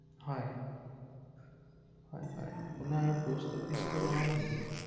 শিৱসাগৰৰ পৰা ৷